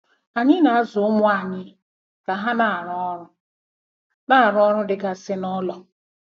Anyị na-azụ ụmụ anyị ka ha na-arụ ọrụ na-arụ ọrụ ndị dịgasị n'ụlọ.